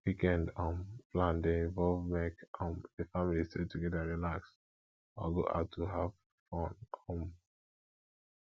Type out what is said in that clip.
weekend um plan de involve make um di family stay together relax or go out to have to have fun um